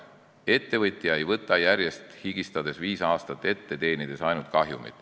Ettevõtja ei tee higistades viis aastat tööd, teenides ainult kahjumit.